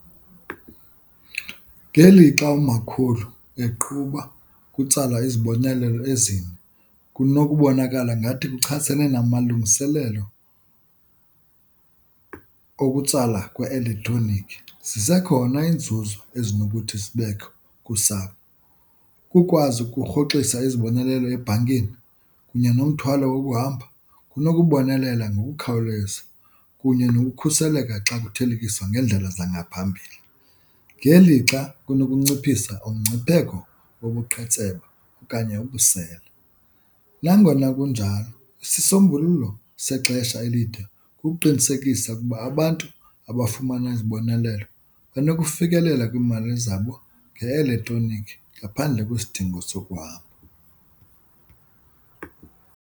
Ngelixa umakhulu eqhuba kutsalwa izibonelelo ezine kunokubonakala ngathi kuchasene namalungiselelo okutsala kwe-elektroniki. Zisekhona iinzuzo ezinokuthi zibekho kusapho, ukukwazi ukurhoxisa izibonelelo ebhankini kunye nomthwalo wokuhamba kunokubonelela ngokukhawuleza kunye nokukhuseleka xa kuthelekiswa ngeendlela zangaphambili, ngelixa kunokunciphisa umngcipheko wobuqhetseba okanye ubusela. Nangona kunjalo, isisombululo sexesha elide kukuqinisekisa ukuba abantu abafumana izibonelelo banokufikelela kwiimali zabo nge-elektroniki ngaphandle kwesidingo sokuhamba.